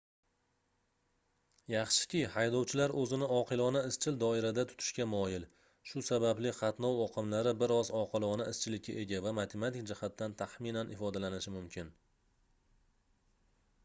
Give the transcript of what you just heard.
yaxshiki haydovchilar oʻzini oqilona izchil doirada tutishga moyil shu sababli qatnov oqimlari bir oz oqilona izchillikka ega va matematik jihatdan taxminan ifodalanishi mumkin